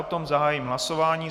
O tom zahájím hlasování.